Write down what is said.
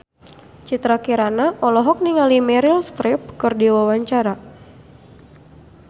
Citra Kirana olohok ningali Meryl Streep keur diwawancara